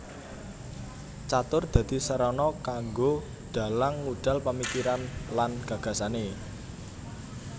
Catur dadi srana kanggo dalang ngudal pamikiran lan gagasane